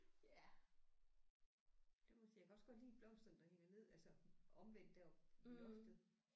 Ja det må jeg sige jeg kan også godt lide blomsterne der hænger ned altså omvendt deroppe i loftet